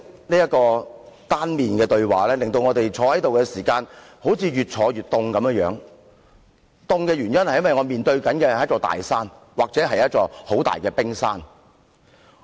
這種單向對話，令我們在會議廳內感到越來越冷，因為我們好像面對一座大山或一座冰山發言。